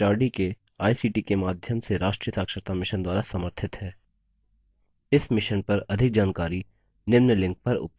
भारत सरकार के एमएचआरडी के आईसीटी के माध्यम से राष्ट्रीय साक्षरता mission द्वारा समर्थित है